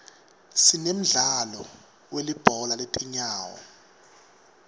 sinemdlalo welibhola letinyawo